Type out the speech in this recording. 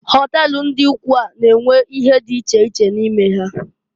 Họtel ndị ụkwụ a na-enwe ihe dị iche iche n'ime ya.